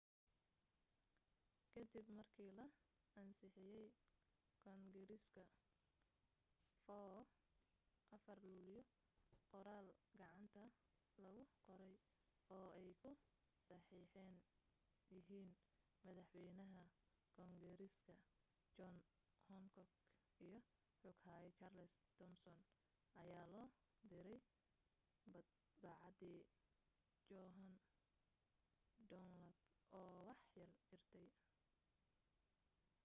kadib markii la ansixiyay kongareeska 4 luulyo, qoraal gacanta lagu qoray oo ay ku saxeexan yihiin madaxwaynaha koongareeska john hancock iyo xoghaye charles thomson ayaa loo diray madbacadii john dunlap oo wax yar jirta